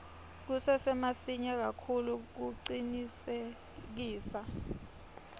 kusesemasinya kakhulu kucinisekisa